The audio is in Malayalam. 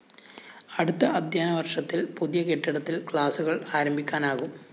അടുത്ത അധ്യയനവര്‍ഷത്തില്‍ പുതിയ കെട്ടിടത്തില്‍ ക്ലാസുകള്‍ ആരംഭിക്കാനാകും